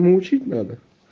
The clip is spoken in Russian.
её учить надо